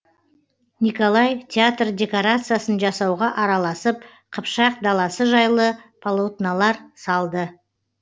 николай театр декорациясын жасауға араласып қыпшақ даласы жайлы полотнолар салды